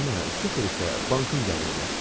Nənə, sıfır isə bankın gəliridir.